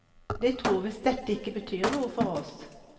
De tror visst dette ikke betyr noe for oss.